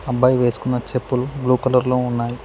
అబ్బాయి వేసుకున్న చెప్పులు బ్లూ కలర్ లో ఉన్నాయ్.